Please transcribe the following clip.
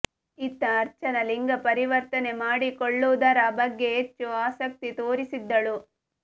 ಇತ್ತ ಅರ್ಚನಾ ಲಿಂಗ ಪರಿವರ್ತನೆ ಮಾಡಿಕೊಳ್ಳುವುದರ ಬಗ್ಗೆ ಹೆಚ್ಚು ಆಸಕ್ತಿ ತೋರಿಸಿದ್ದಳು